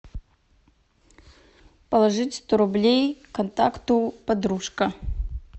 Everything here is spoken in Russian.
положить сто рублей контакту подружка